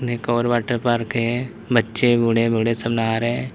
एक और water park है बच्चे बड़े बूढ़े सब नहा रहे है।